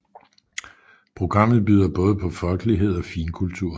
Programmet byder på både folkelighed og finkultur